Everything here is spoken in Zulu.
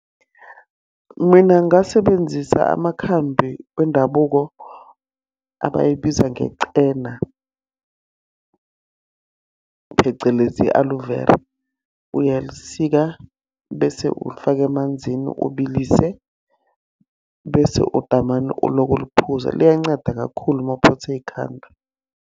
Mina ngasebenzisa amakhambi wendabuko abayibiza , phecelezi i-aloe vera. Uyalisika bese ulifaka emanzini ubilise. Bese udamane uloko uluphuza. Liyanceda kakhulu uma uphethwe yikhanda.